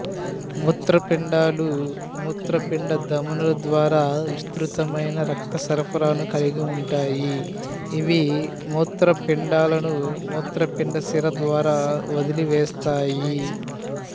మూత్రపిండాలు మూత్రపిండ ధమనుల ద్వారా విస్తృతమైన రక్త సరఫరాను కలిగి ఉంటాయి ఇవి మూత్రపిండాలను మూత్రపిండ సిర ద్వారా వదిలివేస్తాయి